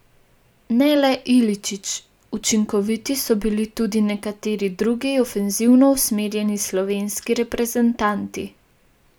Ne le Iličić, učinkoviti so bili tudi nekateri drugi ofenzivno usmerjeni slovenski reprezentanti.